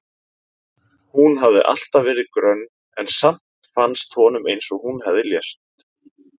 Hún hafði alltaf verið grönn en samt fannst honum eins og hún hefði lést.